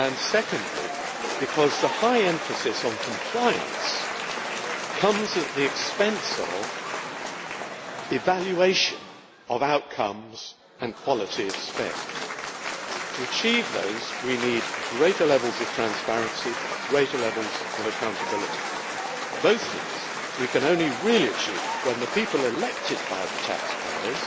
Secondly, because the high emphasis on compliance comes at the expense of evaluation of outcomes and quality of spend. To achieve those, we need greater levels of transparency and of accountability. Both of these we can only really achieve when the people elected by the taxpayers